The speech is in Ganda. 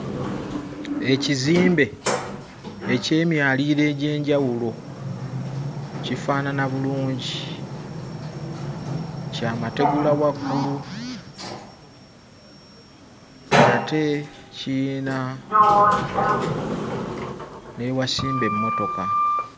Ekizimbe eky'emyaliriro egy'enjawulo kifaanana bulungi kya mategula waggulu ate kiyina n'ewasimba emmotoka.